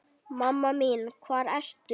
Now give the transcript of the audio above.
Mamma mín hvar ertu?